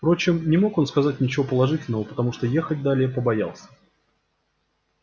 впрочем не мог он сказать ничего положительного потому что ехать далее побоялся